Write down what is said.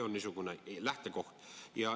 Niisugune on lähtekoht.